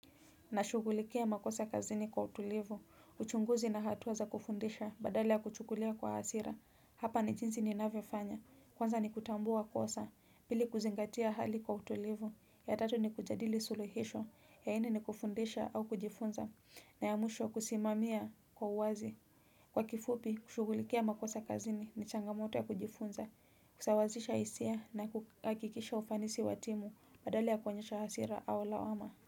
Nashugulikia makosa kazini kwa utulivu, uchunguzi na hatua za kufundisha badala ya kuchukulia kwa hasira, hapa ni jinsi ninavyofanya, kwanza ni kutambua kosa, pili kuzingatia hali kwa utulivu, ya tatu ni kujadili suluhisho, ya nne ni kufundisha au kujifunza, na ya mwsho kusimamia kwa uwazi. Kwa kifupi, kushugulikia makosa kazini ni changamoto ya kujifunza, kusawazisha hisia na kuhakikisha ufanisi wa timu badala ya koenyesha hasira au lawama.